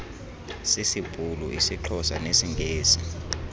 sisibhulu isixhosa nesingesi